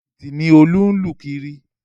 Jìbìtì ni Ọlá ń lù kiri